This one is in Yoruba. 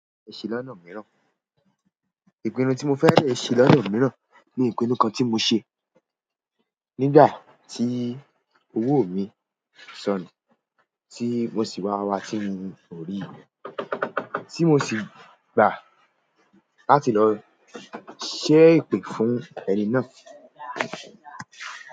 Ẹ̀ṣin lọ́nà mìíràn, ìpinnu tí mo fẹ́rẹ̀ẹ́ ṣe lọ́nà mìíràn ni ìpinnu kan tí mo ṣe nígbà tí owó mi sọnù tí mo sì wa wa wa tí mi ò ríi tí mo sì gbà láti lọ ṣẹ́ èpè fún ẹni náà.